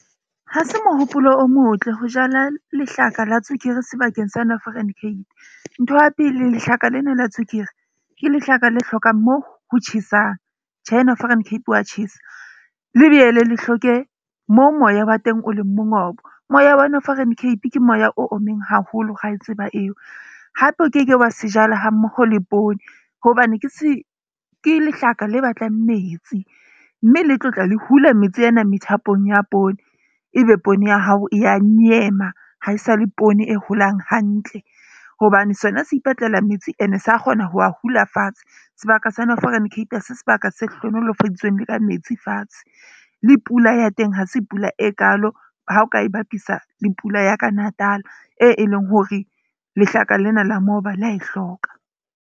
Ha se mohopolo o motle ho jala lehlaka la tswekere sebakeng sa Northern Cape. Ntho ya pele lehlaka lena la tswekere ke lehlaka le hlokang moo ho tjhesang. Tjhe, Northern Cape wa tjhesa lebeyele le hloke moo moya wa teng o leng mongobo. Moya wa Northern Cape ke moya o ommeng haholo ra e tseba eo. Hape o keke wa se jala hammoho le poone hobane ke lehlaka le batlang metsi. Mme le tlo tla le hula metsi ena methapong ya poone. Ebe poone ya hao ya nyema ha e sale poone e holang hantle. Hobane sona se ipatlela metsi. Ene sa kgona ho a hula fatshe. Sebaka sa Northern Cape ha se sebaka se hlohonolofaditsweng le ka metsi fatshe. Le pula ya teng ha se pula e kaalo ha o ka e bapisa le pula ya ka Natal, e leng hore lehlaka lena la moba le a e hloka.